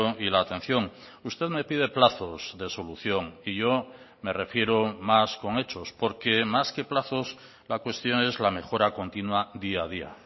y la atención usted me pide plazos de solución y yo me refiero más con hechos porque más que plazos la cuestión es la mejora continua día a día